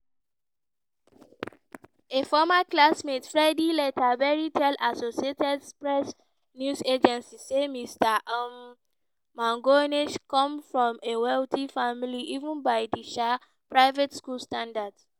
a former classmate freddie leatherbury tell associated press news agency say mr um mangione come from a wealthy family even by di um private school standards.